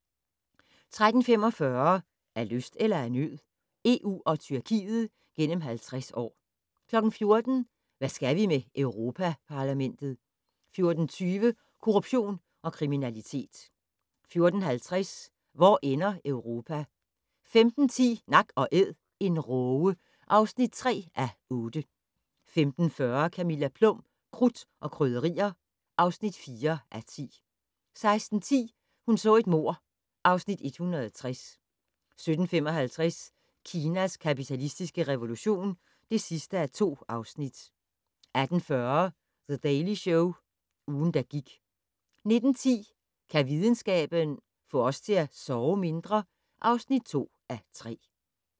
13:45: Af lyst eller af nød? EU og Tyrkiet gennem 50 år 14:00: Hvad skal vi med Europa-Parlamentet? 14:20: Korruption og kriminalitet 14:50: Hvor ender Europa? 15:10: Nak & Æd - en råge (3:8) 15:40: Camilla Plum - Krudt og Krydderier (4:10) 16:10: Hun så et mord (Afs. 160) 17:55: Kinas kapitalistiske revolution (2:2) 18:40: The Daily Show - ugen, der gik 19:10: Kan videnskaben - få os til at sove mindre? (2:3)